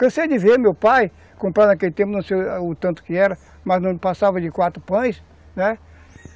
Cansei de ver meu pai comprar naquele tempo, não sei o tanto que era, mas não passava de quatro pães, não é?